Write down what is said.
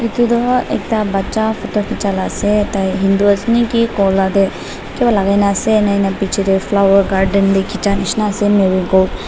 etu tu ekta bacha photo khichia la ase tai hindu ase niki gola te kiba lagai ne ase ena piche te flower garden khichia nishi na ase nahoi le.